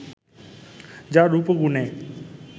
যার রূপ ও গুণে